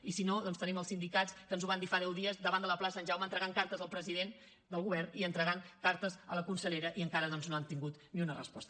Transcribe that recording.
i si no doncs tenim els sindicats que ens ho van dir fa deu dies davant de la plaça sant jaume entregant cartes al president del govern i entregant cartes a la consellera i encara doncs no han tingut ni una resposta